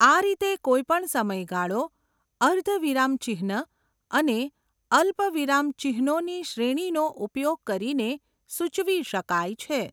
આ રીતે કોઈપણ સમયગાળો અર્ધવિરામચિહ્ન અને અલ્પવિરામચિહ્નોની શ્રેણીનો ઉપયોગ કરીને સૂચવી શકાય છે.